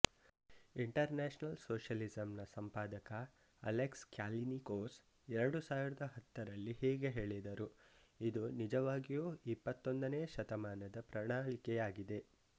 international ಸೋಷಿಯಲಿಸಂನ ಸಂಪಾದಕ Alex ಕ್ಯಾಲಿನಿಕೋಸ್ಎರಡು ಸಾವಿರದ ಹತ್ತರಲ್ಲಿ ಹೀಗೆ ಹೇಳಿದರು ಇದು ನಿಜವಾಗಿಯೂ ಇಪ್ಪತ್ತೊಂದನೇ ಶತಮಾನದ ಪ್ರಣಾಳಿಕೆಯಾಗಿದೆ